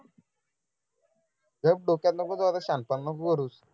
गप्प डोक्यात नको जाऊस आता शहाणपणा नको करुस